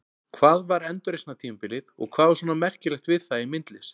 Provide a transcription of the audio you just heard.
Hvað var endurreisnartímabilið og hvað var svona merkilegt við það í myndlist?